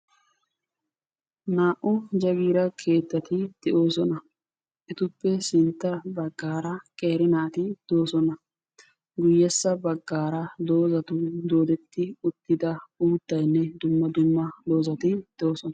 Naa"u jaagita keettati de'oosona. etuppe sintta baggaara qeeri naati doosona. guyessa baggaara doozatun doodetti uttida uuttayinne dumma dumma doozati doosona.